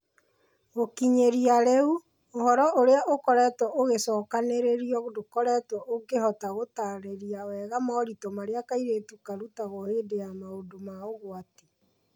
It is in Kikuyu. Gũkinyĩria rĩu, ũhoro ũrĩa ũkoretwo ũgĩcokanĩrĩrio ndũkoretwo ũgĩhota gũtaarĩria wega moritũ marĩa kairĩtu karutagwo hĩndĩ ya maũndũ ma ũgwati.